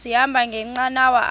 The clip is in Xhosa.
sahamba ngenqanawa apha